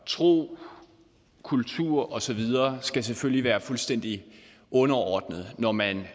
tro kultur og så videre skal selvfølgelig være fuldstændig underordnet når man